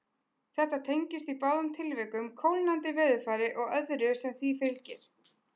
Þetta tengist í báðum tilvikum kólnandi veðurfari og öðru sem því fylgir.